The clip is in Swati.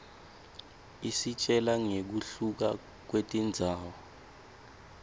isitjela ngekuhluka kwetindzawo